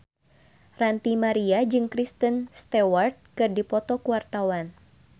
Ranty Maria jeung Kristen Stewart keur dipoto ku wartawan